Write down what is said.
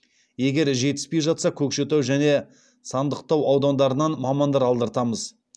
егер жетіспей жатса көкшетау және сандықтау аудандарынан мамандар алдыртамыз